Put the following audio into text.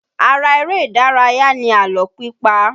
Ara eré ìdárayá ni àlọ́ pípa.